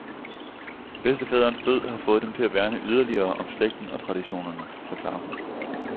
Bedstefaderens død, har fået dem til at værne yderligere om slægten og traditionerne, forklarer hun.